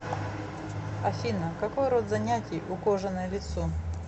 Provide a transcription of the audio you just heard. афина какой род занятий у кожаное лицо